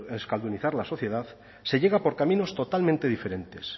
de euskaldunizar la sociedad se llega por caminos totalmente diferentes